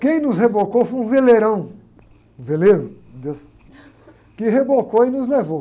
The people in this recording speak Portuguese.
Quem nos rebocou foi um veleirão, um veleiro, um desses, que rebocou e nos levou.